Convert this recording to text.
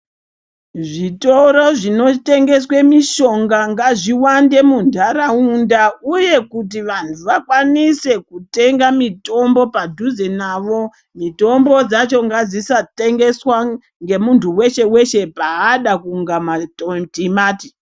Zvitoro zvinotengeswe mishonga ngazviwande muntaraunda uye kuti vantu vakwanise kutenga mitombo padhuze navo. Mitombo dzacho ngadzisatengeswa ngemuntu weshe weshe paada kunge matimati.